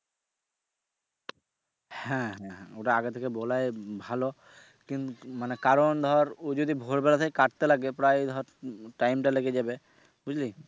হ্যা হ্যা ওটা আগে থেকে বলাই ভালো কিন্তু মানে কারন ধর ও যদি ভোর বেলাতেই কাটতে লাগে প্রায় ধর time টা লেগে যাবে বুঝলি।